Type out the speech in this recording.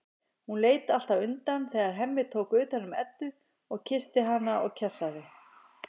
Hún leit alltaf undan þegar Hemmi tók utan um Eddu og kyssti hana og kjassaði.